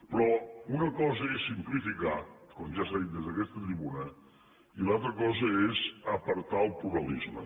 però una cosa és simplificar com ja s’ha dit des d’aquesta tribuna i l’altra cosa és apartar el pluralisme